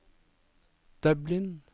Dublin